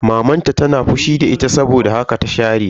Maman ta tana fushi da ita saboda haka ta share ta.